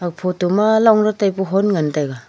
e photo ma long let taipu hon ngan taega.